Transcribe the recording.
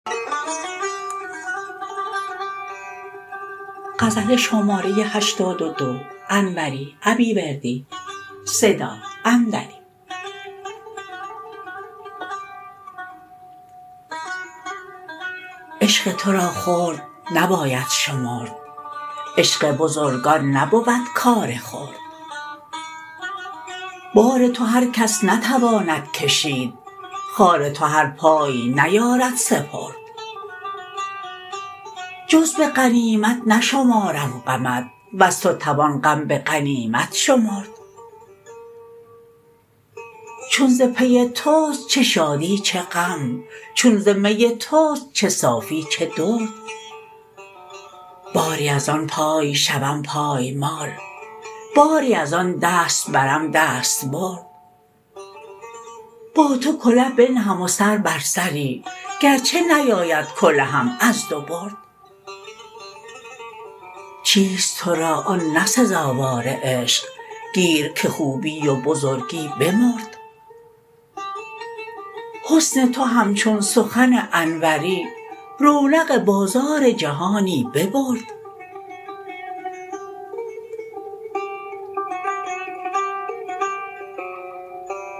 عشق تو را خرد نباید شمرد عشق بزرگان نبود کار خرد بار تو هرکس نتواند کشید خار تو هر پای نیارد سپرد جز به غنیمت نشمارم غمت وز تو توان غم به غنیمت شمرد چون ز پی توست چه شادی چه غم چون ز می توست چه صافی چه درد باری از آن پای شوم پایمال باری از آن دست برم دستبرد با تو کله بنهم و سر بر سری گرچه نیاید کلهم از دو برد چیست تو را آن نه سزاوار عشق گیر که خوبی و بزرگی بمرد حسن تو همچون سخن انوری رونق بازار جهانی ببرد